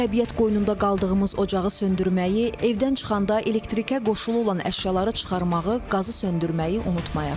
Təbiət qoynunda qaldığımız ocağı söndürməyi, evdən çıxanda elektrikə qoşulu olan əşyaları çıxarmağı, qazı söndürməyi unutmayaq.